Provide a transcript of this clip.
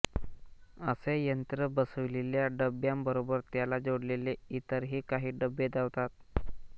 असे यंत्र बसविलेल्या डब्यांबरोबर त्याला जोडलेले इतरही काही डबे धावतात